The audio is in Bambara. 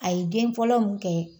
A ye den fɔlɔ mun kɛ